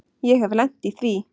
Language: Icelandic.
Ég hef lent í því.